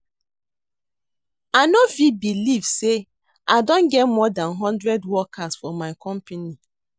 I no fit believe say I don get more dan hundred workers for my company